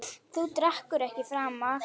Þú drekkur ekki framar.